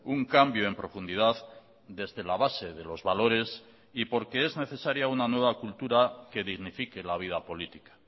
un cambio en profundidad desde la base de los valores y porque es necesaria una nueva cultura que dignifique la vida política